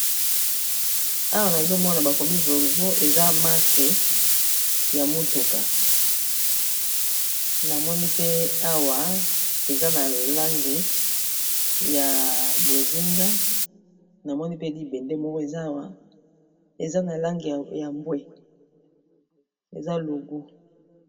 Awa nazomona bakomi volvo eza marque ya motuka namoni pe awa eza na langi ya bozinga namoni pe libende moko eza na langi ya mbwe eza logo.